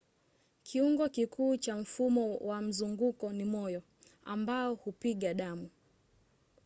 kiungo kikuu cha mfumo wa mzunguko ni moyo ambao hupiga damu